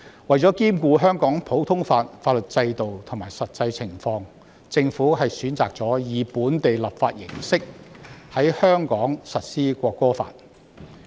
為了兼顧香港普通法法律制度及實際情況，政府選擇了以本地立法形式在香港實施《國歌法》。